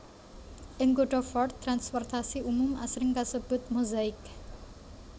Ing kutha Fort transportasi umum asring kasebut Mozaik